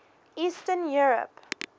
eastern europe